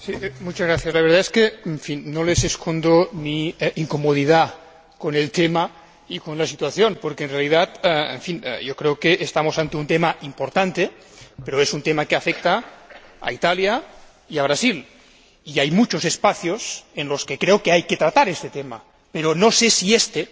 Señor Presidente, la verdad es que no les escondo mi incomodidad con el tema y con la situación, porque, en realidad, creo que estamos ante un tema importante, pero es un tema que afecta a Italia y a Brasil y hay muchos espacios en los que creo que hay que tratar este tema, pero no sé si este,